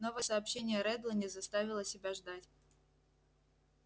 новое сообщение реддла не заставило себя ждать